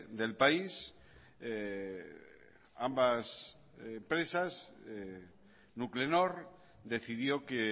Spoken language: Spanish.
del país ambas empresas nuclenor decidió que